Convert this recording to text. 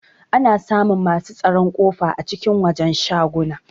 Ana samun masu tsaron kofa a cikin wajen shaguna.